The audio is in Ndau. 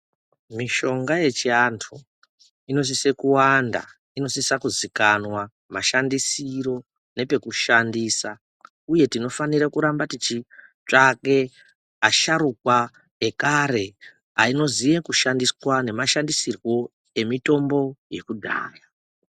Mishonga yechi antu inosise kuwanda ,inosisa kuzikanwa mashandisiro nepekushandisa uye tinofanire kuramba tichitsvake asharukwa ekare anoziye kushandisa nemashandisirwo emitombo yekudhaya.